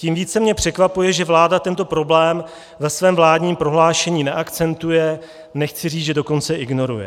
Tím více mě překvapuje, že vláda tento problém ve svém vládním prohlášení neakcentuje, nechci říct, že dokonce ignoruje.